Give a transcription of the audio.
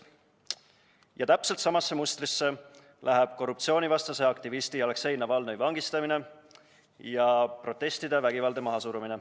Ja täpselt samasse mustrisse läheb korruptsioonivastase aktivisti Aleksei Navalnõi vangistamine ja protestide vägivaldne mahasurumine.